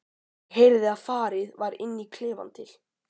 Ég heyrði að farið var inn í klefann til